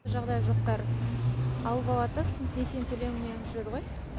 жағдайы жоқтар алып алады да сосын несиені төлей алмай жүреді ғой